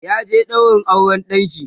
ya je ɗaurin auran ɗanshi